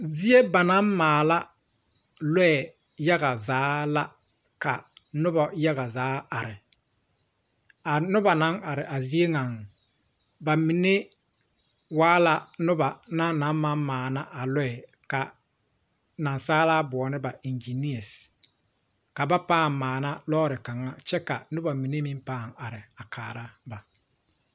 Zie ba naŋ maala lɔɛ yaga zaa la ka noba yaga zaa are, a noba naŋ are a zie nya ,ba mine waa la noba na maŋ maana a lɔɛ ka Naasaalaa boɔlɔ ba eŋginee ,ka ba paa maana lɔre kaŋa ka noba mine meŋ paa are kaara ba.